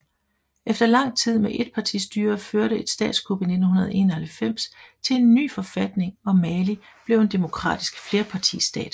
Efter lang tid med etpartistyre førte et statskup i 1991 til en ny forfatning og Mali blev en demokratisk flerpartistat